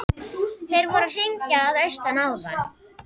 Þeir voru að hringja að austan áðan.